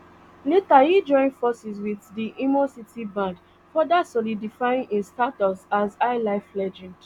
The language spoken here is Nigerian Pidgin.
later e join forces wit di imo city band further solidifying im status as highlife legend